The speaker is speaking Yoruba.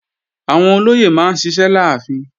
Àwọn olóyè máa ń ṣiṣẹ́ láàfin